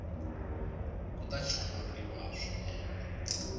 kuta chongoriwa swinene